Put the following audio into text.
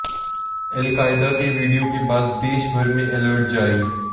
al Qaeda के video के बाद देशभर में अलर्ट जारी